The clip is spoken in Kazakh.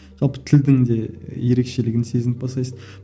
жалпы тілдің де ерекшелігін сезініп бастайсың